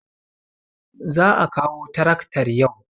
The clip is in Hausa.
Za a kawo taraktar yau.